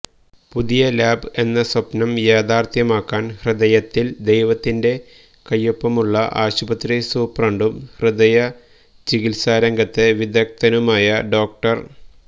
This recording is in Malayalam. പുതിയ ലാബ് എന്ന സ്വപ്നം യാഥാർഥ്യമാക്കാൻ ഹൃദയത്തിൽ ദൈവത്തിന്റെ കൈയൊപ്പമുള്ള ആശുപത്രി സൂപ്രണ്ടും ഹൃദയ ചികിത്സാരംഗത്തെ വിദഗ്ധനുമായ ഡോ